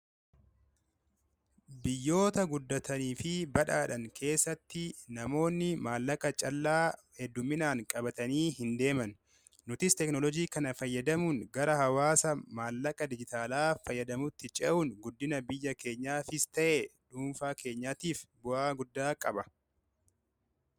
biyyoota guddatanii fi badhaadhan keessatti namoonni maallaqa callaa hedduminaan qabatanii hin deeman nutis teknolojii kana fayyadamuun gara hawaasa maallaqa dijitaalaa fayyadamutti ce'uun guddina biyya keenyaa fis ta'e duunfaa keenyaatiif bu'aa guddaa qaba